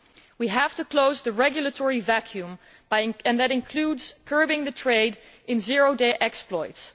We have to close the regulatory vacuum, and that includes curbing the trade in zero day exploits.